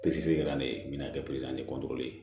Peseli kɛla ne bɛna